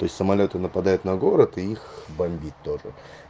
то есть самолёты нападают на город и их бомбит тоже